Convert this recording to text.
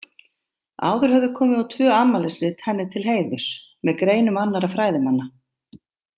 Áður höfðu komið út tvö afmælisrit henni til heiðurs, með greinum annarra fræðimanna.